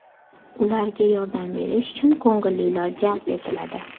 Ularga yordam berish uchun ko‘ngillilar jalb etiladi.